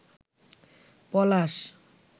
পলাশ